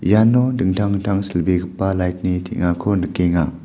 iano dingtang dingtang silbegipa light-ni teng·ako nikenga.